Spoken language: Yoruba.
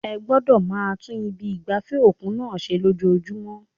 Ẹ gbọ́dọ̀ máa tún ibi ìgbafẹ́ òkun náà ṣe ní ojoojúmọ́.